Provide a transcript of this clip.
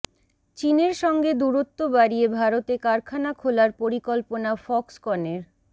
চীনের সঙ্গে দূরত্ব বাড়িয়ে ভারতে কারখানা খোলার পরিকল্পনা ফক্সকনের